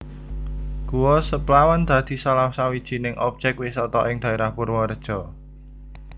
Guwa Seplawan dadi salah sawijining objèk wisata ing daèrah Purwareja